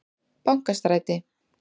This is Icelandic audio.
Bankastræti